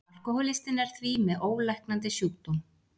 Alkohólistinn er því með ólæknandi sjúkdóm.